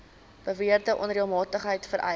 beweerde onreëlmatigheid vereis